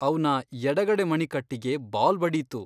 ಅವ್ನ ಎಡಗಡೆ ಮಣಿಕಟ್ಟಿಗೆ ಬಾಲ್ ಬಡೀತು.